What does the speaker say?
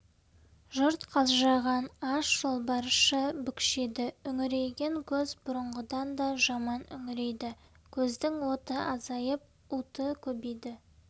жұрт қалжыраған аш жолбарысша бүкшиді үңірейген көз бұрынғыдан да жаман үңірейді көздің оты азайып уыты көбейді